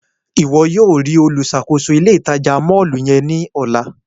Iwọ yóò rii oluṣakoso ile-itaja mọllu yẹn ni ọla!